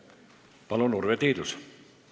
Palun, Urve Tiidus!